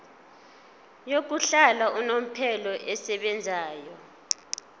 yokuhlala unomphela esebenzayo